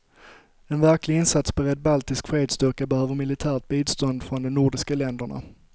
En verklig insatsberedd baltisk fredsstyrka behöver militärt bistånd från de nordiska länderna.